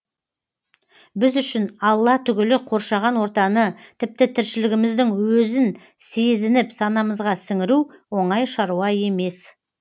біз үшін алла түгілі қоршаған ортаны тіпті тіршілігіміздің өзін сезініп санамызға сіңіру оңай шаруа емес